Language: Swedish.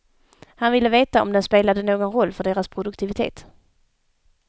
Han ville veta om den spelade någon roll för deras produktivitet.